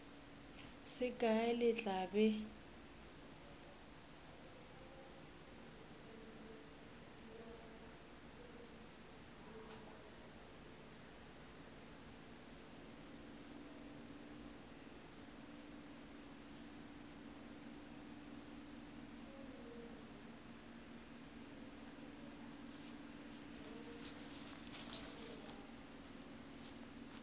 se kae le tla be